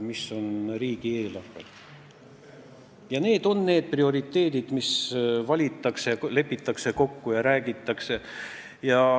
Sellised on need prioriteedid, mis valitakse, milles kokku lepitakse ja millest räägitakse.